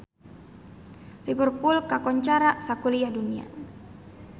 Liverpool kakoncara sakuliah dunya